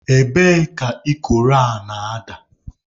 Ebee ka ikoro a na-ada?